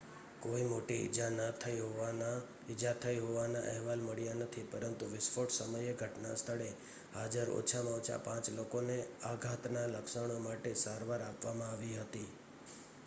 કોઈ મોટી ઈજા થઈ હોવાના અહેવાલ મળ્યા નથી પરંતુ વિસ્ફોટ સમયે ઘટનાસ્થળે હાજર ઓછામાં ઓછા પાંચ લોકોને આઘાતના લક્ષણો માટે સારવાર આપવામાં આવી હતી